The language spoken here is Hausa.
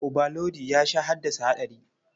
Obalodi ya sha haddasa haɗari.